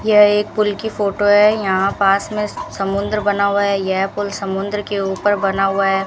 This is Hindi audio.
यह एक पुल की फोटो है यहां पास में समुंद्र बना हुआ है यह पुल समुंद्र के ऊपर बना हुआ है।